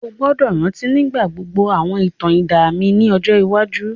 O gbọ́dọ̀ rántí nígbà gbogbo àwọn ìtàn idán mi ni ọjọ iwájú.